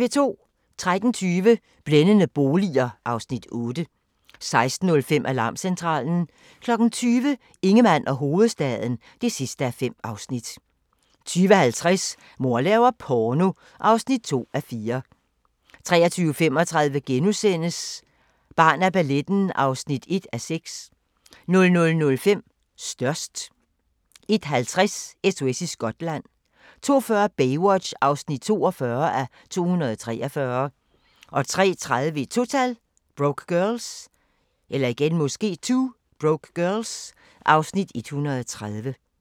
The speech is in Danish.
13:20: Blændende boliger (Afs. 8) 16:05: Alarmcentralen 20:00: Ingemann og hovedstaden (5:5) 20:50: Mor laver porno (2:4) 23:35: Barn af balletten (1:6)* 00:05: Størst 01:50: SOS i Skotland 02:40: Baywatch (42:243) 03:30: 2 Broke Girls (Afs. 130)